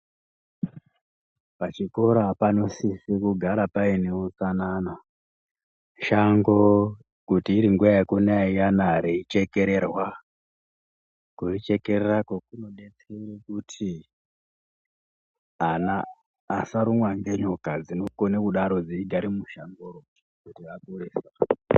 Pachikora panosizwe kugara paine hutsanana ,shango kuti iringuwa yekunaya iyena rei chekererwa kuri chekererako kunobetsere kuti ana asarumwa ngenyoka dzinongona kudaro dzeingara mushangoro .